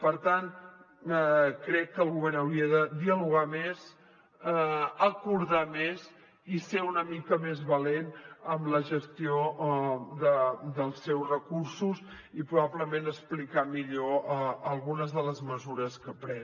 per tant crec que el govern hauria de dialogar més acordar més i ser una mica més valent en la gestió dels seus recursos i probablement explicar millor algunes de les mesures que pren